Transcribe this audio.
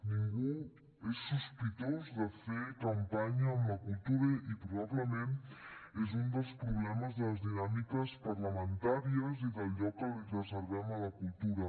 ningú és sospitós de fer campanya amb la cultura i probablement és un dels problemes de les dinàmiques parlamentàries i del lloc que li reservem a la cultura